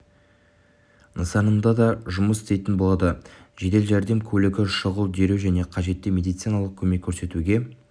нысанында да жұмыс істейтін болады жедел жәрдем көлігі шұғыл дереу және қажетті медициналық көмек көрсетуге